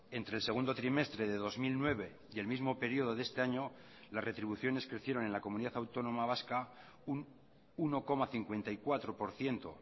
entre el segundo trimestre de dos mil nueve y el mismo período de este año las retribuciones crecieron en la comunidad autónoma vasca un uno coma cincuenta y cuatro por ciento